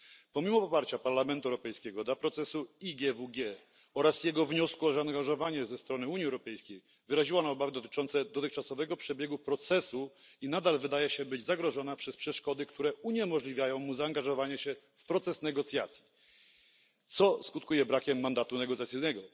Pomimo poparcia Parlamentu Europejskiego dla procesu IGWG oraz jego wniosku o zaangażowanie ze strony Unii Europejskiej wyraziła ona obawy dotyczące dotychczasowego przebiegu procesu i nadal wydaje się być zagrożona przez przeszkody, które uniemożliwiają mu zaangażowanie się w proces negocjacji, co skutkuje brakiem mandatu negocjacyjnego.